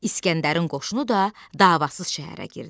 İsgəndərin qoşunu da davasız şəhərə girdi.